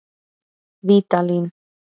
Vídalín